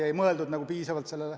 Ju ei mõeldud sellele piisavalt.